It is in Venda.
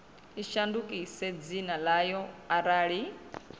i shandukise dzina ḽayo arali